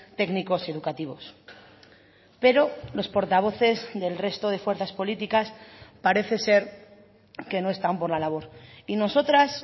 técnicos educativos pero los portavoces del resto de fuerzas políticas parece ser que no están por la labor y nosotras